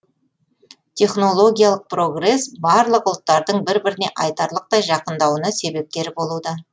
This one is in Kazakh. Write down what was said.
технологиялық прогресс барлық ұлттардың бір біріне айтарлықтай жақындауына себепкер болуда